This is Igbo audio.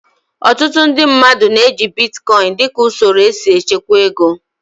Ọtụtụ ndị mmadụ na-eji bitkọin dịka usoro esi echekwa ego